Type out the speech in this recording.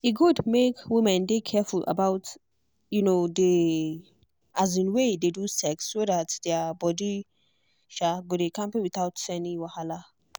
e good make women dey careful about um the um way they do sex so that their body um go dey kampe without any wahala.